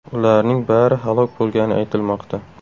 Ularning bari halok bo‘lgani aytilmoqda .